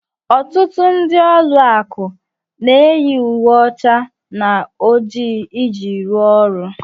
Ọtụtụ ndị ụlọ akụ na-eyi uwe ọcha na oji iji rụọ ọrụ